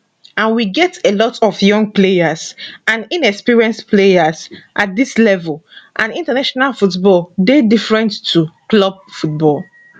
and we get a lot of young players and inexperienced players at dis level and international football dey different to club football